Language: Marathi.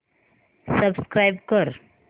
सबस्क्राईब कर